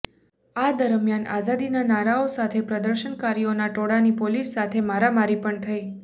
આ દરમિયાન આઝાદીના નારાઓ સાથે પ્રદર્શનકારીઓના ટોળાની પોલીસ સાથે મારામારી પણ થઈ